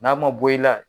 N'a ma bɔ i la